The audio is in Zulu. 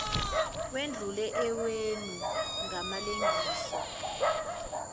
wedlule owenu ngamalengiso